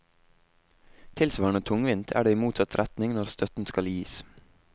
Tilsvarende tungvint er det i motsatt retning når støtten skal gis.